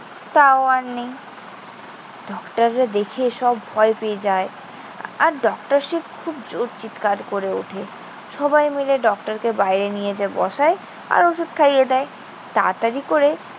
তাও আর নেই। ডক্টররা দেখে সব ভয় পেয়ে যায়। আর ডক্টর সে খুব জোর চিৎকার করে ওঠে। সবাই মিলে ডক্টরকে বাইরে নিয়ে যেয়ে বসায়। আর ওষুধ খাইয়ে দেয়। তাড়াতাড়ি করে